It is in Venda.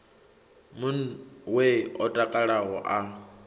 mun we o takalaho a